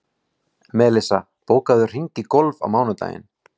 Melissa, bókaðu hring í golf á mánudaginn.